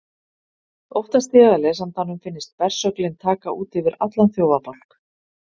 Óttast ég að lesandanum finnist bersöglin taka út yfir allan þjófabálk.